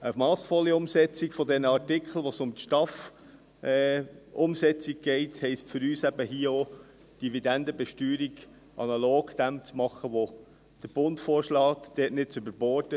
Eine massvolle Umsetzung der Artikel, bei denen es um die STAF-Umsetzung geht, heisst für uns eben auch, hier die Dividendenbesteuerung analog zu dem zu machen, was der Bund vorschlägt, und dort nicht zu überborden.